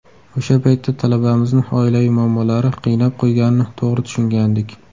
O‘sha paytda talabamizni oilaviy muammolari qiynab qo‘yganini to‘g‘ri tushungandik.